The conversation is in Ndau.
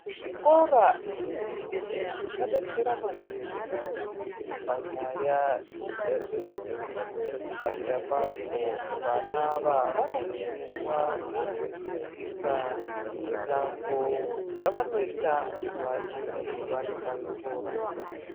Zvikora zvendumure zvadetsera maningi panyaya yezvefundo padera pazvo vana ava vanofundiswa netsika mitambo yavanoita vachinge vari pazvikora.